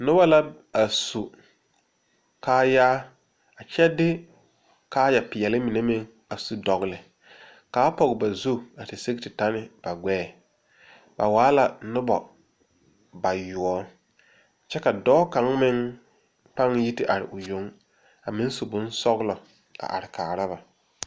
Noba la a su kaayaa a kyɛ de kaayaa pɛɛle mine a su dɔgeli, kaa Pɔge ba zu a te sigi te tɔ ne ba gbɛɛ, ba waa la noba bayoɔbo kyɛ ka dɔɔ kaŋa meŋ a yi te are o yoŋ a meŋ su bonsɔglɔ